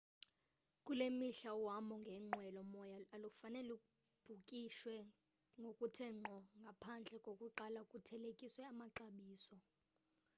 kule mihla uhambo ngenqwelo moya alufane lubhukishwe ngokuthe ngqo ngaphandle kokuqala kuthelekiswe amaxabiso